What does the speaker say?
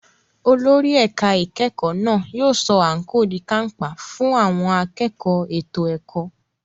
Olórí ẹ̀ka ìkẹ́kọ̀ọ́ náà yóò sọ àǹkóò di kàńpá fún àwọn akẹ́kọ̀ọ́ ètò ẹ̀kọ́.